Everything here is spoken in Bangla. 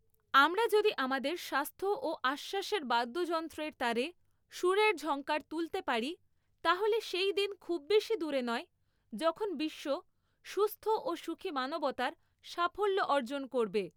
আমরা যদি আমাদের স্বাস্থ্য ও আশ্বাসের বাদ্যযন্ত্রের তারে সুরের ঝঙ্কার তুলতে পারি, তাহলে সেইদিন খুব বেশি দূরে নয় যখন বিশ্ব সুস্থ ও সুখী মানবতার সাফল্য অর্জন করবে।